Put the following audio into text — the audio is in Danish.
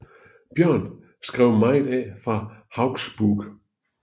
Bjørn skrev meget af fra Hauksbók